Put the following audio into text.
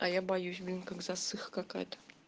а я боюсь блин как засыха какая-то